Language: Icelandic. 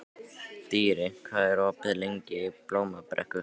Dýri, hvað er opið lengi í Blómabrekku?